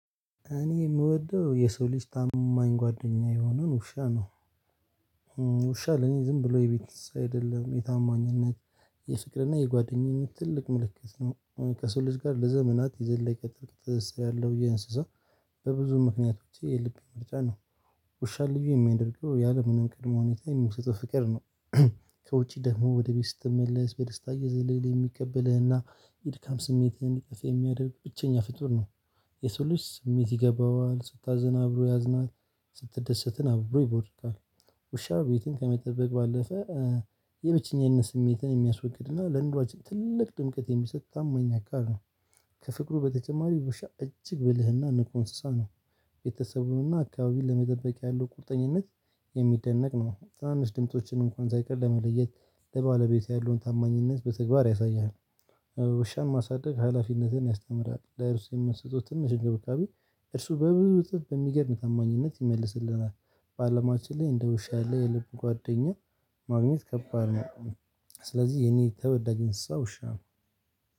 እኔ የምወደው የሰው ልጅ ታማኝ ጓደኛ የሆነው ውሻ ነው። ውሻ ለኔ ዝም ብሎ የቤት እንስሳ አይደለም የታማኝነት የፍቅርና የጓደኝነት ትልቅ ምልክት ነው። ከሰው ልጅ ጋር ለዘመናት የዘለቀ ጥብቅ ትስስር ያለው ይህ እንስሳ በብዙ ምክንያት ውጪ የልቤ ምርጫ ነው። ውሻ ልዩ የሚያደርገው ያለምንም ቅድመ ሁኔታ የሚሰጠው ፍቅር ነው። ከውጪ ደግሞ ወደ ቤት ስትመለስ በደስታ እየዘለለ የሚቀበልህና የድካም ስሜትህን ይቅፍ የሚያደርግ ብቸኛ ፍጡር ነው። የሰው ልጅ ስሜት ይገባዋል ስታዝን አብሮ ያዝናል። ስትደሰትን አብሮ ይቦርቃል። ውሻ ቤትን ከመጠበቅ ባለፈ የብቸኝነትን ስሜትን የሚያስወግድና ለኑሯችን ትልቅ ድምቀት የሚሰጥ ታማኝ አካል ነው። ከፍቅሩ በተጨማሪ ውሻ እጅግ ብልህና ንቁ እንስሳ ነው። ቤተሰቡንና አካባቢን ለመጠበቅ ያለው ቁርጠኝነት የሚደነቅ ነው ትናንሽ ድምፆችን እንኳን ሳይቀር ለመለየት ለባለቤት ያለውን ታማኝነት በተግባር ያሳያል። ውሻን ማሳደግ ሀላፊነትን ያስተምራል ለእርሱ የምንሰጠው ትንሽ እንክብካቤ እርሱ በብዙ እጥፍ በሚገርም ታማኝነት ይመልስልናል። በአለማችን ላይ እንደ ውሻ ያለ የልብ ጓደኛ ማግኘት ከባድ ነው። ስለዚህ የኔ ተወዳጅ እንስሳ ውሻ ነው።